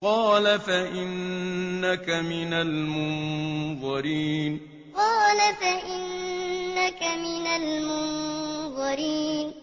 قَالَ فَإِنَّكَ مِنَ الْمُنظَرِينَ قَالَ فَإِنَّكَ مِنَ الْمُنظَرِينَ